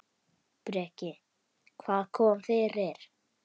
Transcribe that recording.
Breki: Hvað kom fyrir?